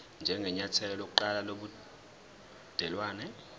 njengenyathelo lokuqala lobudelwane